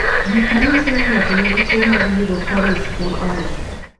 Gik manyiso ni ng'ato nigi tuwo mar Urocanase en ang'o?